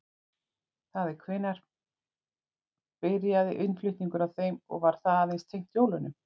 Það er hvenær byrjaði innflutningur á þeim og var það aðeins tengt jólunum?